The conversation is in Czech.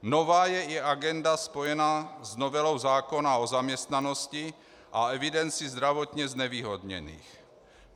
Nová je i agenda spojená s novelou zákona o zaměstnanosti a evidenci zdravotně znevýhodněných.